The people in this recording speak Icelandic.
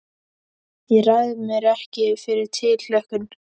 Ég ræð mér ekki fyrir tilhlökkun.